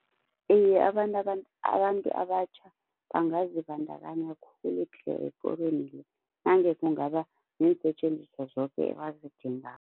Iye abantu abantu abatjha bangazibandakanya khulu tle ekorweni le nange kungaba neensetjenziswa zoke ebazidingako.